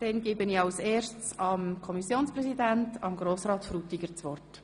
Dann gebe ich dem Kommissionssprecher das Wort.